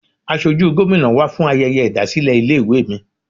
Asojú Gómìnà wá fún ayẹyẹ ìdásílẹ̀ ilé ìwé mi.